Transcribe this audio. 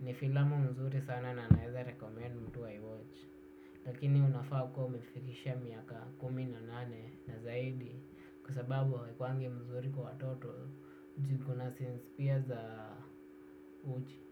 ni filamu mzuri sana na naeza recommend mtu ai watch lakini unafaa kuwa umefikisha miaka kumi na nane na zaidi kwa sababu haikuangi mzuri kwa waoto juu iko na scenes pia za uchi.